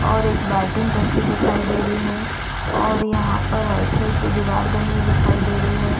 और एक बाल्टिन रखी दिखाई दे रही है और यहाँ पर आइसर की दिवार बनी हुई दिखाई दे रही है।